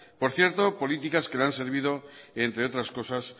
por cierto políticas que no han servido entre otras cosas